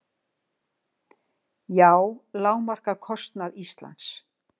JÁ lágmarkar kostnað Íslands